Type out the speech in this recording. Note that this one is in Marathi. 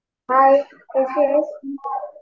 हाय कशी आहेस?